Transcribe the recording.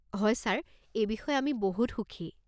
হয় ছাৰ, এই বিষয়ে আমি বহুত সুখী।